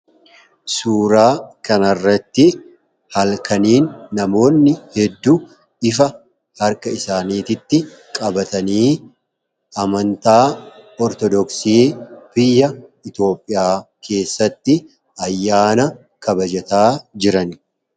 Suuraa kanarratti halkaniin namoonni hedduu ifa harka isaaniitti qabatanii amantaa ortodoksii biyya itoophiyaa keessatti ayyaana kabajataa jiran.